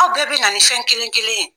Aw bɛɛ bɛ na nin fɛn kelen kelen ye.